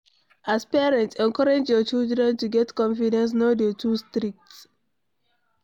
As parent, encourage your children to get confidence no dey too strict